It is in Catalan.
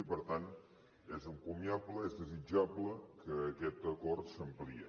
i per tant és encomiable és desitjable que aquest acord s’ampliï